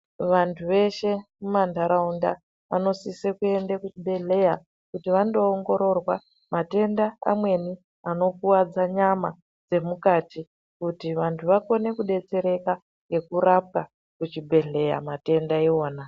Vantu veshe mumandaraunda vanosise kuenda kuzvibhedhleya kuti vandoongororwa matenda amweni anokuvadza nyama dzemukati kuti vantu vakone kudetsereka ngekurapwa kuchibhedhleya matenda iwona.